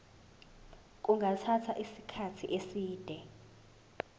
kungathatha isikhathi eside